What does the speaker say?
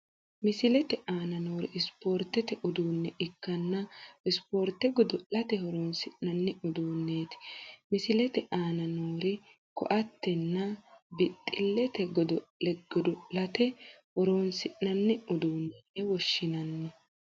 Misilete aana noori sporitete uduune ikkanna sporite godo'late horonisi'nani udunneti. Misilete aana noori:- koatte, nna bixxilete. Goddo'le goddo'late horonisi'nani udunne yine woshinani.